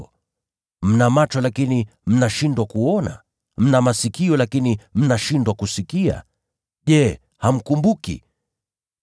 Je, mna macho lakini mnashindwa kuona, na mna masikio lakini mnashindwa kusikia? Je, hamkumbuki?